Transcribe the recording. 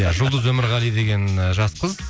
иә жұлдыз өмірғали деген ііі жас қыз